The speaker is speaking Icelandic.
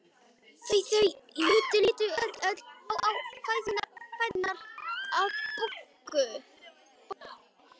Þau litu öll á fæturna á Boggu.